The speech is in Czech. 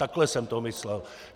Takhle jsem to myslel.